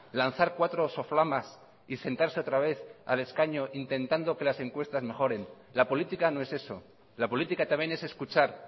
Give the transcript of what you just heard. lanzar cuatro soflamas y sentarse otra vez al escaño intentando que las encuestas mejoren la política no es eso la política también es escuchar